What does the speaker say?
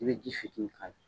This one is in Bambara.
I bɛ ji fitinin k'ala.